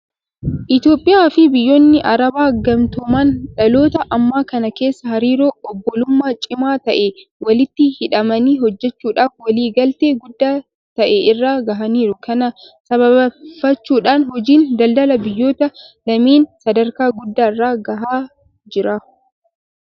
Itoophiyaafi biyyoonni Arabaa gamtooman dhaloota ammaa kana keessa hariiroo obbulummaa cimaa ta'een walitti hidhamanii hojjechuudhaaf walii galtee guddaa ta'e irra gahaniiru. Kana sababeeffachuudhaan hojiin daldala biyyoota lameenii sadarkaa guddaa irra gahee jira.